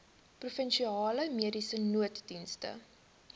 provinsiale mediese nooddienste